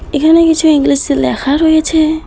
এখানে কিছু ইংলিশে লেখা রয়েছে।